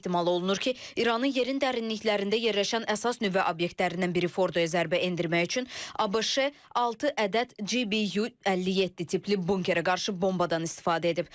Ehtimal olunur ki, İranın yerin dərinliklərində yerləşən əsas nüvə obyektlərindən biri Fordoya zərbə endirmək üçün ABŞ altı ədəd GBU-57 tipli bunkera qarşı bombadan istifadə edib.